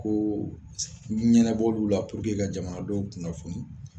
Ko b'u la ka jamanadenw kunnafoni